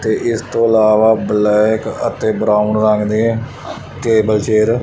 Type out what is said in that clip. ਤੇ ਇਸ ਤੋਂ ਇਲਾਵਾ ਬਲੈਕ ਅਤੇ ਬਰਾਊਨ ਰੰਗ ਦੇ ਟੇਬਲ ਚੇਅਰ --